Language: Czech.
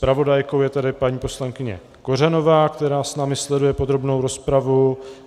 Zpravodajkou je tedy paní poslankyně Kořanová, která s námi sleduje podrobnou rozpravu.